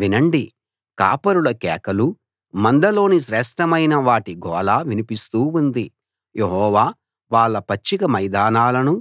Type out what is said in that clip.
వినండి కాపరుల కేకలూ మందలోని శ్రేష్ఠమైన వాటి గోల వినిపిస్తూ ఉంది యెహోవా వాళ్ళ పచ్చిక మైదానాలను